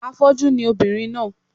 Afọ́jú ni ọmọbìnrin náà